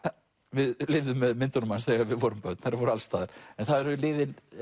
við lifðum með myndunum hans þegar við vorum börn þær voru alls staðar en það eru liðin